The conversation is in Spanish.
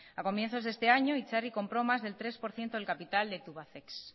a comienzos de este año itzarri compró más del tres por ciento del capital de tubacex